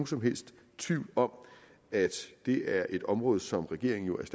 som helst tvivl om at det er et område som regeringen